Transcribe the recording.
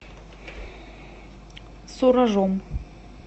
суражом